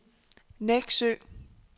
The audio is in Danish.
Nexø